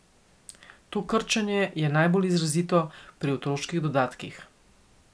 To krčenje je najbolj izrazito pri otroških dodatkih.